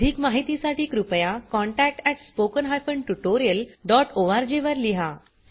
अधिक माहितीसाठी कृपया contact at spoken hyphen tutorial dot ORG वर लिहा